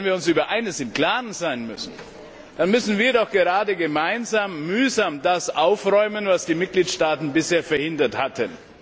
Wenn wir uns über eines im Klaren sein müssen, dann müssen wir doch gerade gemeinsam mühsam das aufräumen, was die Mitgliedstaaten bisher verhindert hatten.